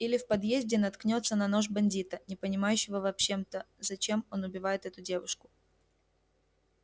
или в подъезде наткнётся на нож бандита не понимающего в общем-то зачем он убивает эту девушку